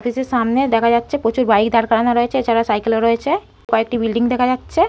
এই যে সামনে দেখা যাচ্ছে প্রচুর বাইক দাঁড় করানো রয়েছে এ ছাড়া সাইকেল ও রয়েছে কয়েকটি বিল্ডিং দেখা যাচ্ছে।